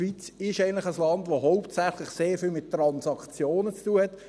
Die Schweiz ist eigentlich ein Land, das hauptsächlich sehr viel mit Transaktionen zu tun hat: